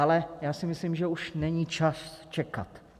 Ale já si myslím, že už není čas čekat.